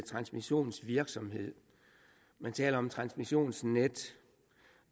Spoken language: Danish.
transmissionsvirksomhed man taler om et transmissionsnet